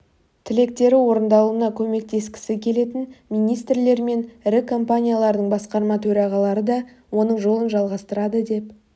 тілектері орындалуына көмектескісі келетін министрлер мен ірі компаниялардың басқарма төрағалары да оның жолын жалғастырады деп